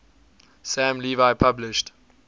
sam levy published